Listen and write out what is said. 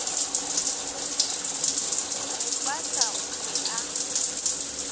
bo pata o be a